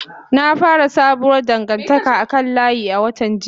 Na fara sabuwar dangantaka a kan layi a watan jiya.